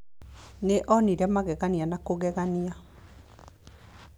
Nĩ onire magegania ma kũgegania.